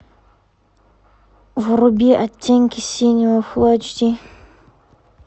вруби оттенки синего фулл эйч ди